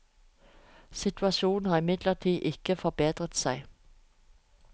Situasjonen har imidlertid ikke bedret seg.